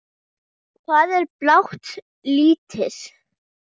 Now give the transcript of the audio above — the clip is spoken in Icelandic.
Hvað er blátt lítið?